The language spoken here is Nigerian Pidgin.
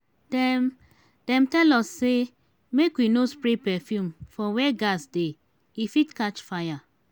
dem dem tell us sey make we no spray perfume for where gas dey e fit catch fire.